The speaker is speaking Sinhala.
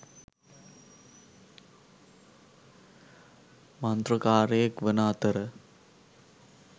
මන්ත්‍රකාරයෙක් වන අතර